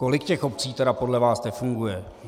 Kolik těch obcí tedy podle vás nefunguje?